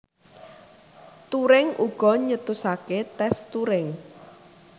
Turing uga nyetusaké tès Turing